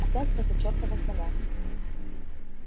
опять эта чертова сова